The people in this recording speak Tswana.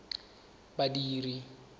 badiri